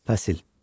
Fəsil.